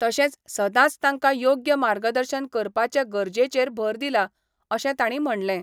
तशेंच सदांच तांका योग्य मार्गदर्शन करपाचे गरजेचेर भर दिला अशें तांणी म्हणलें.